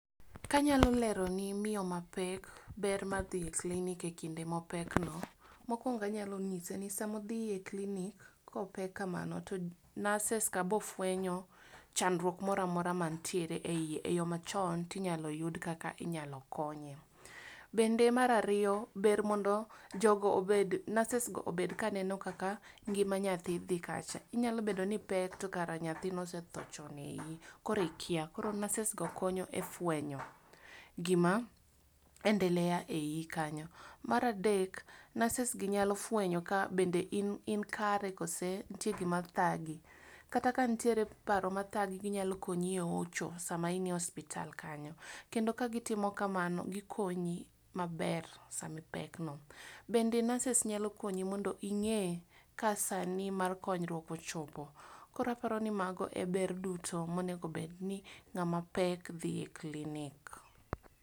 Ka anyalo lero ne miyo mapek ber mar dhiye clinic e kinde mopek no, mokwongo anyalo nyise ni sama odhiye clinic kopek kamano to nurses ka bofwenyo chandruok moramora mantier eiye eyoo machon tinyalo yud kaka inyalo konye. Bende mar ariyo ber mondo jogo obed nurses go bed ka neno kaka ngima nyathi dhi kacha inyalo bedo niipek to kare nyathi nosethoo chon eiiyi koro ikia. Koro nurses go konyo e fwenyo gima endelea e iiyi kanyo. maradek nurses gi nyalo fwenyo bende ka in kare kose nitie gima thagi. kata ka nitie paro mathagi ginyalo konyi ehocho sama inie hospital kacha kendo ka gitimo kamano gikonyi maber samipek no. Bende nurses nyalo konyi mondo ing'ee ka saa ni mar konyruok ochopo. Kaparo ni mago eber duto monego bed ni ng'ama pek dhi e clinic